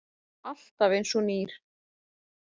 Alltaf einsog nýr.